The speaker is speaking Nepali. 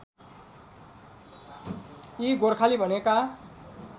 यी गोरखाली भनेका